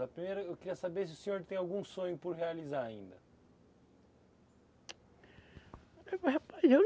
A primeira, eu queria saber se o senhor tem algum sonho por realizar ainda. rapaz eu